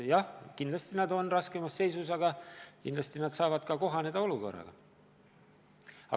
Jah, kindlasti nad on raskemas seisus, aga kahtlemata nad suudavad olukorraga kohaneda.